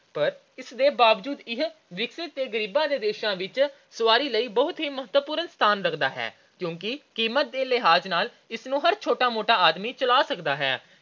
ਪਰ ਇਸ ਦੇ ਬਾਵਜੂਦ ਇਹ ਅਵਿਕਸਿਤ ਤੇ ਗਰੀਬਾਂ ਦੇ ਦੇਸ਼ਾਂ ਵਿੱਚ ਸਵਾਰੀ ਲਈ ਮਹੱਤਵਪੂਰਨ ਸਥਾਨ ਰੱਖਦਾ ਹੈ ਕਿਉਂਕਿ ਕੀਮਤ ਦੇ ਲਿਹਾਜ ਨਾਲ ਇਸਨੂੰ ਹਰ ਛੋਟਾ-ਮੋਟਾ ਆਦਮੀ ਚਲਾ ਸਕਦਾ ਹੈ।